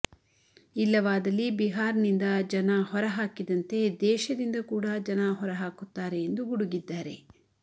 ಇಲ್ಲವಾದಲ್ಲಿ ಬಿಹಾರ್ನಿಂದ ಜನ ಹೊರಹಾಕಿದಂತೆ ದೇಶದಿಂದ ಕೂಡಾ ಜನ ಹೊರಹಾಕುತ್ತಾರೆ ಎಂದು ಗುಡುಗಿದ್ದಾರೆ